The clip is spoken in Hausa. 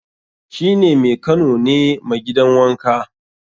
shi ne Mekano ne ma gidan wanka